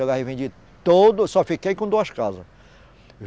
Eu vendi tudo, só fiquei com duas casas.